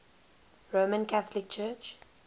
roman catholic church